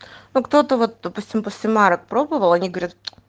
ну кто-то вот допустим после марок пробовал они говорят